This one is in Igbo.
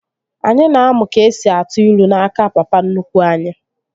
Anyị na-amụ ka esi atụ ilu n'aka papa nnukwu anyi